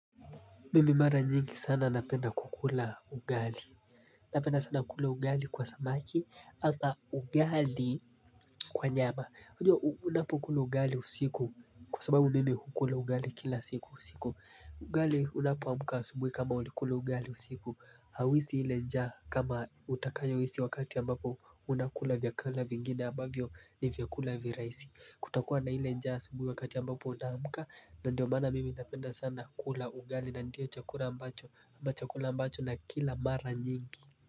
Mimi mara nyingi sana napenda kukula ugali. Napenda sana kula ugali kwa samaki ama ugali kwa nyama. Unapo kula ugali usiku kwa sababu mimi hukula ugali kila siku usiku. Ugali unapoamka asubui kama ulikula ugali usiku, Hauhisi ile njaa kama utakayo hisi wakati ambapo unakula vyakula vingine ambavyo ni vyakula virahisi kutakuwa na ile njaa asubuhi wa ambapo unamka na ndio maana mimi napenda sana kula ungali na ndio chakula ambacho chakula ambacho nakila mara nyingi.